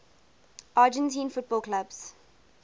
argentine football clubs